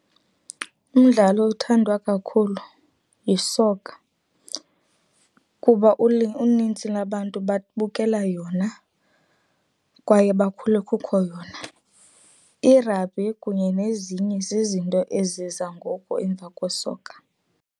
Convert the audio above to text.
Umdlalo othandwa kakhulu yisokha, kuba unintsi lwabantu babukela yona kwaye bakhule kukho yona. Irabhi kunye nezinye zizinto eziza ngoku emva kwesokha.